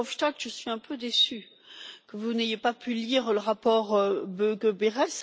Verhofstadt, je suis un peu déçue que vous n'ayez pas pu lire le rapport Böge-Berès.